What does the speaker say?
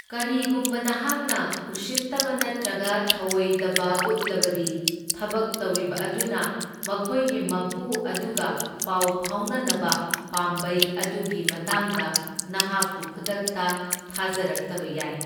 ꯀꯔꯤꯒꯨꯝꯕ ꯅꯍꯥꯛꯅ ꯎꯁꯤꯠꯇꯕ ꯅꯠꯇ꯭ꯔꯒ ꯊꯋꯣꯏꯗꯕ ꯎꯠꯂꯕꯗꯤ ꯊꯕꯛ ꯇꯧꯔꯤꯕ ꯑꯗꯨꯅ ꯃꯈꯣꯏꯒꯤ ꯃꯄꯨ ꯑꯗꯨꯒ ꯄꯥꯎ ꯐꯥꯎꯅꯅꯕ ꯄꯥꯝꯕꯩ ꯑꯗꯨꯒꯤ ꯃꯇꯥꯡꯗ ꯅꯍꯥꯛꯄꯨ ꯈꯨꯗꯛꯇ ꯊꯥꯖꯔꯛꯇꯕ ꯌꯥꯏ꯫